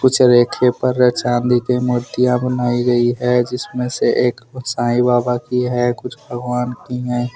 कुछ रैक खे ऊपर र चांदी के मूर्तियां बनाई गई है। जिसमें से एक साईं बाबा की हैं कुछ भगवान की हैं।